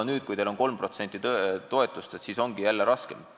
Nüüd, kui teil on 3% toetust, on teil ju jälle raskem.